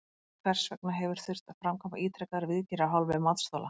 Hvers vegna hefur þurft að framkvæma ítrekaðar viðgerðir af hálfu matsþola?